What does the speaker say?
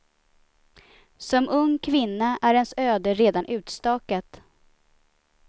Som ung kvinna är ens öde redan utstakat.